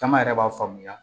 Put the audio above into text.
Caman yɛrɛ b'a faamuya